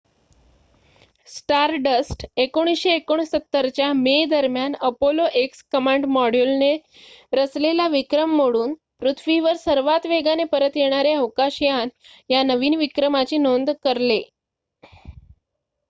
stardust १९६९ च्या मेदरम्यान Apollo X command मॉड्यूलने रचलेला विक्रम मोडून पृथ्वीवर सर्वाधिक वेगाने परत येणारे अवकाशयान या नवीन विक्रमाची नोंद करले